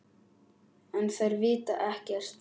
En þær vita ekkert.